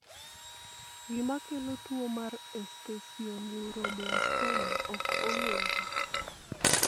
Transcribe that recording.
gima kelo tuo mar esthesioneuroblastoma ok ong'ere